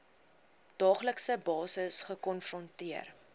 daaglikse basis gekonfronteer